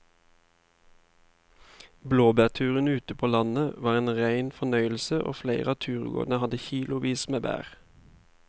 Blåbærturen ute på landet var en rein fornøyelse og flere av turgåerene hadde kilosvis med bær.